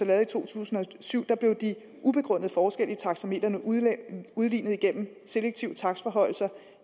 lavet i to tusind og syv blev de ubegrundede forskelle i taxametrene udlignet udlignet igennem selektive takstforhøjelser